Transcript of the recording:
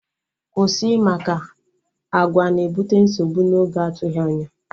Kwụsị! Maka àgwà na-ebute nsogbu na oge atụghị anya